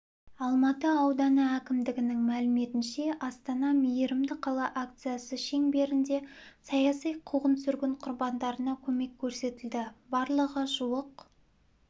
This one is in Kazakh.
алматы ауданы әкімдігінің мәліметінше астана мейірімді қала акциясы шеңберінде саяси қуғын-сүргін құрбандарына көмек көрсетілді барлығы жуық